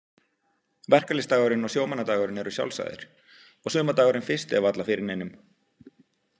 Verkalýðsdagurinn og sjómannadagurinn eru sjálfsagðir og sumardagurinn fyrsti er varla fyrir neinum.